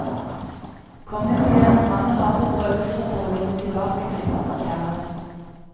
Kongen må gjennom mange harde prøvelser for å vinne tilbake sin kjære.